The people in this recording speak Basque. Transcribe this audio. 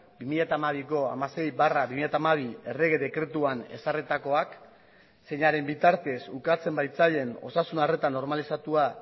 bi mila hamabiko hamasei barra bi mila hamabi errege dekretuan ezarritakoak zeinaren bitartez ukatzen baitzaien osasun arreta normalizatua